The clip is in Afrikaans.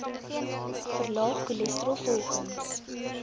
verlaag cholesterol volgens